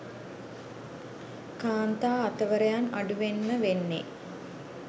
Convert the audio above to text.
කාන්තා අතවරයන් අඩුවෙන්ම වෙන්නේ.